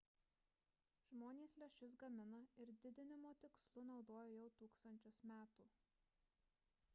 žmonės lęšius gamina ir didinimo tikslu naudoja jau tūkstančius metų